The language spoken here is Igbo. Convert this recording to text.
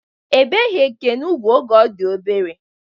Ebeghi Ekene ugwu oge ọ di obere.